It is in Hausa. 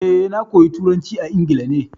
Eh, na koya turanci a Ingila ne.